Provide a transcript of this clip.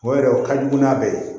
O yɛrɛ o ka jugu n'a bɛɛ ye